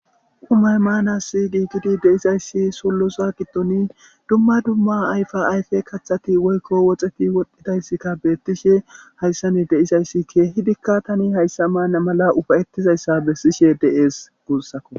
umay maanassi giiggidi deizayssi sollosa gidtoni dumma dumma ayfa ayfe kaththati woykko woxeti wodhdhidayssikka beettishe hayssani deisayssi keehidikka tani hayssa maanna mala ufayettizayssa bessishe deees guussako